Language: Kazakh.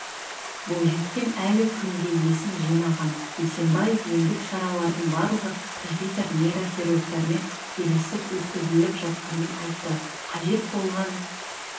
бойжеткен әлі күнге есін жимаған бейсембаев емдік шаралардың барлығы профессор-нейрохирургтармен келісіліп өткізіліп жатқанын айтты қажет болған